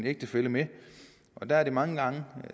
ægtefælle med og der er det mange gange